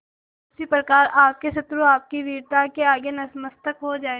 उसी प्रकार आपके शत्रु आपकी वीरता के आगे नतमस्तक हो जाएं